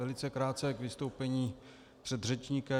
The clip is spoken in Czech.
Velice krátce k vystoupení předřečníka.